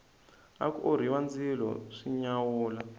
aku orhiwa ndzilo swi nyawula